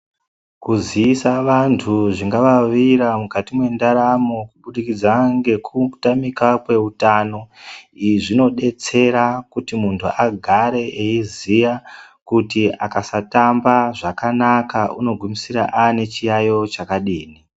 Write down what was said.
Kuziisa vantu zvingavawira mukati mwendaramo kubudikidza ngekutamika kweutano. Izvi zvinodetsera kuti muntu agare eiziya kuti akasatamba zvakanaka unogumisira aanechiyayo chakadini.